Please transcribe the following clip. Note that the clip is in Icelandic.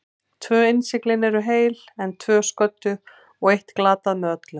Tvö innsiglin eru heil, en tvö sködduð og eitt glatað með öllu.